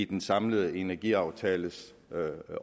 den samlede energiaftales